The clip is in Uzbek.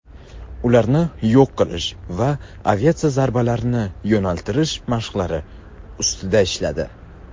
ularni yo‘q qilish va aviatsiya zarbalarini yo‘naltirish mashqlari ustida ishladi.